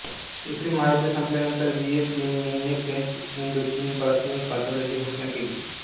दुसरे महायुद्ध संपल्यानंतर व्हियेत मिन्हने फ्रेंच इंडोचीनपासून स्वातंत्र्याची घोषणा केली